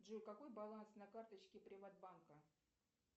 джой какой баланс на карточке приват банка